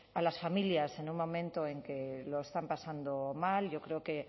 a las familias en un momento en que lo están pasando mal yo creo que